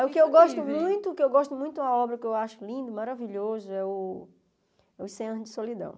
O que eu gosto muito, o que eu gosto muito da obra que eu acho lindo, maravilhoso, é o o cem anos de Solidão.